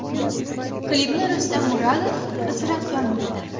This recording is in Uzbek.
Klipni Rustam Murodov suratga olmoqda.